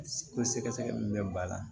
Ko sɛgɛsɛgɛli min bɛ ba la